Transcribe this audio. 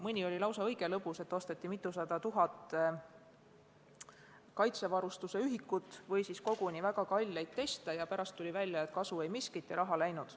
Mõni oli lausa õige lõbus, näiteks osteti mitusada tuhat ühikut kaitsevarustust või väga kalleid teste ja pärast tuli välja, et kasu ei miskit ja raha läinud.